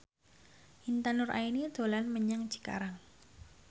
Intan Nuraini dolan menyang Cikarang